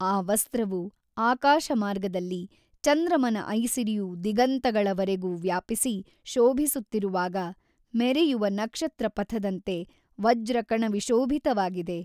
ಆ ವಸ್ತ್ರವು ಆಕಾಶಮಾರ್ಗದಲ್ಲಿ ಚಂದ್ರಮನ ಐಸಿರಿಯು ದಿಗಂತಗಳವರೆಗು ವ್ಯಾಪಿಸಿ ಶೋಭಿಸುತ್ತಿರುವಾಗ ಮೆರೆಯುವ ನಕ್ಷತ್ರಪಥದಂತೆ ವಜ್ರಕಣವಿಶೋಭಿತವಾಗಿದೆ.